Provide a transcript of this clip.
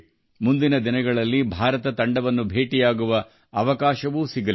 ಮುಂದಿನ ದಿನಗಳಲ್ಲಿ ಭಾರತ ತಂಡವನ್ನು ಭೇಟಿಯಾಗುವ ಅವಕಾಶವೂ ಸಿಗಲಿದೆ